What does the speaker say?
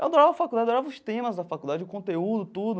Adorava a faculdade, adorava os temas da faculdade, o conteúdo, tudo.